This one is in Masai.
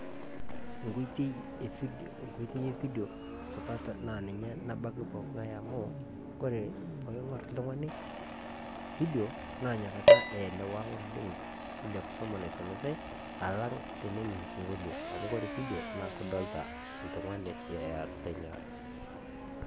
enkoitoi evidio supat nabaiki pookin ngáe amu wore teningór oltung'ani vidio nakisuma naisumitai tenening' sinkolio amu kore vidio naa ildolta oltung'ani eopeny'